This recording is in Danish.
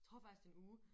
Tror faktisk det er en uge